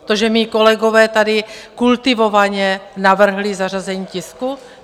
To, že mí kolegové tady kultivovaně navrhli zařazení tisku?